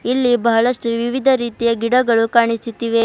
ಇಲ್ಲಿ ಬಹಳಷ್ಟು ವಿವಿಧ ರೀತಿಯ ಗಿಡಗಳು ಕಾಣಿಸುತ್ತಿವೆ.